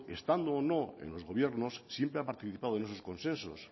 estando o no en los gobiernos siempre ha participado en esos consensos